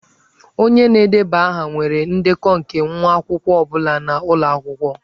Onye na-edeba aha nwere ndekọ nke nwa akwụkwọ ọ bụla nọ n'ụlọ akwụkwọ.